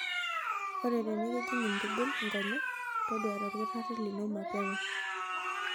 Ore tenikijing' ntibil nkonyek, toduare olkitarri lino mapema.